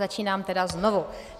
Začínám tedy znovu.